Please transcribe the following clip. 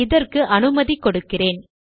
இதற்கு அனுமதி கொடுக்கிறேன்